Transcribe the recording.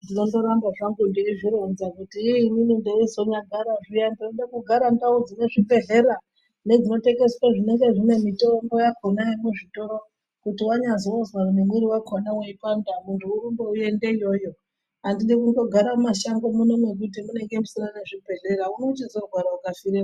Ndinongoramba zvangu ndeizvironza kuti ii inini ndeizonyagara zviya ndinoda kugara ndaudzwa chibhedhleya nedzinotengeswe dzinenge dzine mitombo yakona muzvitoro. Kuti vanyazozwa nemwiri vakona uchipanda muntu orumba oende iyoyo handidi kungogara mumashango muno mekuti munenge musina ngezvibhedhlera unochizorwara ukafiremwo.